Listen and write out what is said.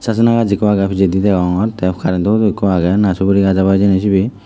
sajana gaas ekjo agey pijedi degongor tay karentow hudow ekko agay na suguri gaas obow sebay.